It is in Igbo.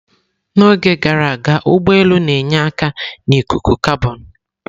N'oge gara aga, ụgbọ elu na-enye aka na ikuku kabọn.